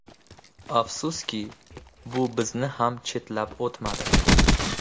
Afsuski, bu bizni ham chetlab o‘tmadi.